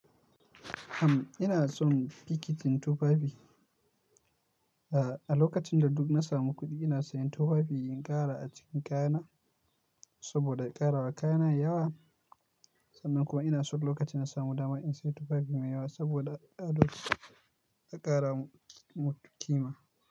Am, ina son bikitin tufafi. A, a lokacin da duk na samu kuɗi ina sayan tufafi in ƙara a cikin kayana saboda in ƙarawa kayana yawa. Sannan kuma ina du lokacin da na samu dama in sayi tufafi mai yawa saboda a ƙarama mutum kima.